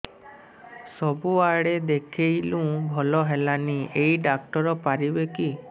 ସବୁଆଡେ ଦେଖେଇଲୁ ଭଲ ହେଲାନି ଏଇ ଡ଼ାକ୍ତର ପାରିବେ କି